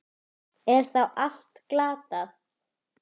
Er þá allt glatað?